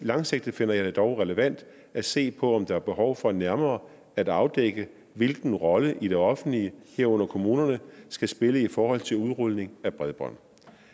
langsigtet finder jeg det dog relevant at se på om der er behov for nærmere at afdække hvilken rolle det offentlige herunder kommunerne skal spille i forhold til udrulning af bredbånd